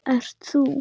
Ert þú?